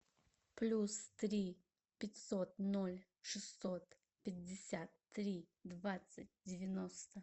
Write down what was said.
плюс три пятьсот ноль шестьсот пятьдесят три двадцать девяносто